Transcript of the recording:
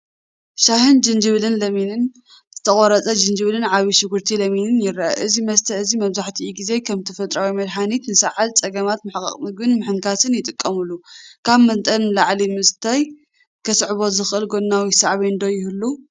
ሻሂ ጅንጅብልን ለሚንን ፣ዝተቖርጸ ጅንጅብልን ዓቢ ሽጉርቲ ለሚንን ይረአ። እዚ መስተ እዚ መብዛሕትኡ ግዜ ከም ተፈጥሮኣዊ መድሃኒት ንሰዓልን ጸገማት ምሕቃቕ ምግቢን ምሕንካስን ይጥቀመሉ። ካብ መጠን ንላዕሊ ምስታይ ከስዕቦ ዝኽእል ጎናዊ ሳዕቤን ዶ ይህሉ?